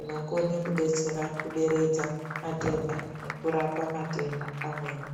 inokone kuderedza matenda nekurapa matenda amweni.